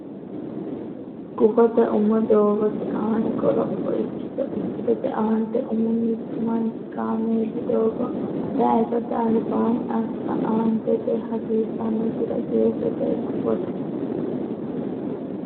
Gufote umo Doogote Aani Qoropho Ikkito Ikkitote Aante Umo Mittu manchi kaameelu doogo tayisate albaanni assa Aantete hasiissannosiri Jeefote Gufote.